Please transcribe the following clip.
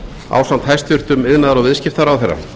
ásamt hæstvirtur iðnaðar og viðskiptaráðherra